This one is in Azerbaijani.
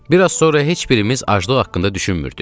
Bir az sonra heç birimiz aclıq haqqında düşünmürdük.